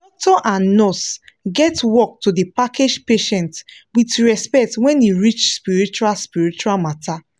doctor and nurse get work to da package patient with respect wen e reach spiritual spiritual matter